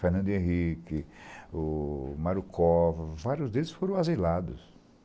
Fernando Henrique, o Mario cova, vários deles foram asilados.